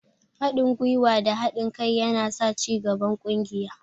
Haɗin gwuiwa da haɗin kai yana sa cigaban ƙungiya.